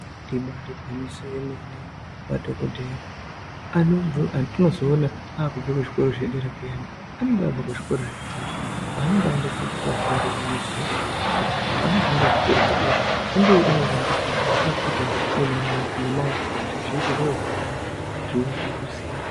Ibari gwinyiso yemene madhokodheya anombo atinozoona akubve kuzvikora zvedera zviyani anenge abve kuzvikora zvepakati kwaanenge aenda kopuwa fundo yekumusoro kuti panozoende kuzvikoro zvedera fundoyo inowandudzwa akuita nemamo nemaoko kuti zviite zviro zvakanaka zviro zvekuziya.